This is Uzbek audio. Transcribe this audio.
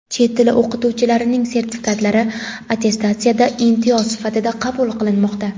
Chet tili o‘qituvchilarining sertifikatlari attestatsiyada imtiyoz sifatida qabul qilinmoqda.